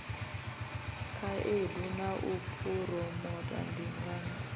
khaedu na u phuromotha ndingano